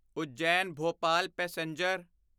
Ujjain Bhopal passenger